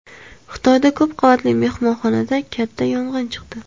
Xitoyda ko‘p qavatli mehmonxonada katta yong‘in chiqdi.